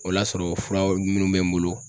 O l'a sɔrɔ fura minnu bɛ n bolo